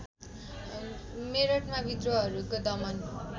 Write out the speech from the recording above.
मेरठमा विद्रोहहरूको दमन